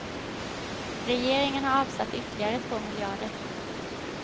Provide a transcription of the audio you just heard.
Regeringen har avsatt ytterligare två miljarder.